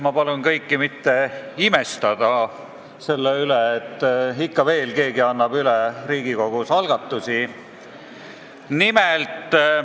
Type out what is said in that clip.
Ma palun mitte imestada selle üle, et ikka veel keegi annab Riigikogus üle eelnõusid.